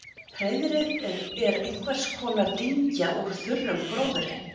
Hreiðrið er einhvers konar dyngja úr þurrum gróðri.